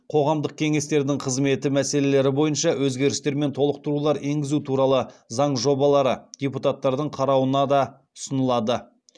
қоғамдық кеңестердің қызметі мәселелері бойынша өзгерістер мен толықтырулар енгізу туралы заң жобалары депутаттардың қарауына да ұсынылады